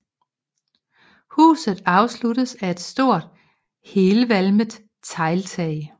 Huset afsluttes af et stort helvalmet tegltag